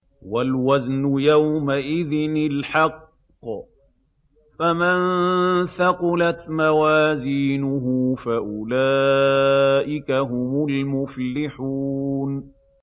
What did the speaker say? وَالْوَزْنُ يَوْمَئِذٍ الْحَقُّ ۚ فَمَن ثَقُلَتْ مَوَازِينُهُ فَأُولَٰئِكَ هُمُ الْمُفْلِحُونَ